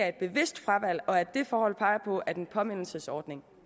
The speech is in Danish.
et bevidst fravalg og at det forhold peger på at en påmindelsesordning